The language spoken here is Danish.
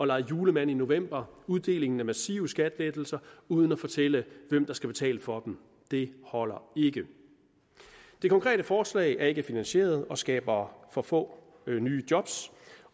lege julemand i november at uddele massive skattelettelser uden at fortælle hvem der skal betale for dem det holder ikke det konkrete forslag er ikke finansieret og skaber for få nye job